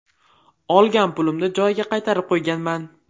Olgan pulimni joyiga qaytarib qo‘yganman.